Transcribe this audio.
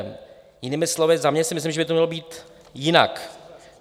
Jinými slovy, za mě si myslím, že by to mělo být jinak.